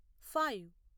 five